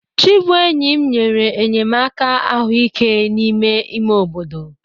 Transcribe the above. Chibuenyim nyere enyemaka ahụike n'ime ime obodo.